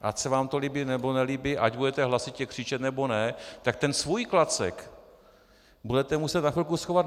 Ať se vám to líbí, nebo nelíbí, ať budete hlasitě křičet, nebo ne, tak ten svůj klacek budete muset na chvilku schovat.